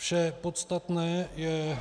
Vše podstatné je